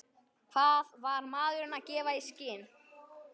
Hvað var maðurinn að gefa í skyn?